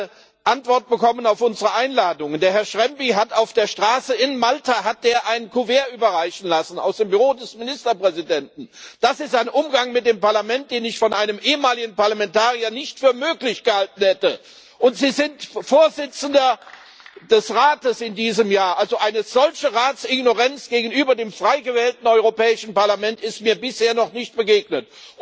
Wir haben keine Antwort bekommen auf unsere Einladung. Herr Schembri hat auf der Straße in Malta ein Kuvert aus dem Büro des Ministerpräsidenten überreichen lassen. Das ist ein Umgang mit dem Parlament, den ich von einem ehemaligen Parlamentarier nicht für möglich gehalten hätte! Und Sie sind Vorsitzender des Rates in diesem Jahr also, eine solche Rats Ignoranz gegenüber dem frei gewählten Europäischen Parlament ist mir bisher noch nicht begegnet.